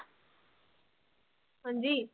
ਹਾਂਜੀ